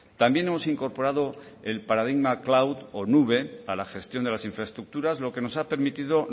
también hemos incorporado el paradigma cloud o nube a la gestión de las infraestructuras lo que nos ha permitido